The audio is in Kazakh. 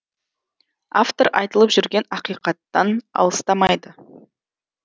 автор айтылып жүрген ақиқаттан алыстамайды